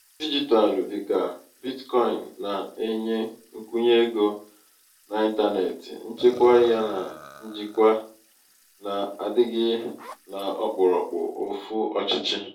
ego dijitalụ dịka bitcoini na-enye nkwụnye ego ego n’ịntanetị nchekwa yana njikwa na-adịghị n’okpuru ofú ọchịchị.